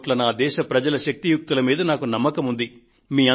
125 కోట్ల నా దేశ ప్రజల శక్తియుక్తుల మీద నాకు నమ్మకం ఉంది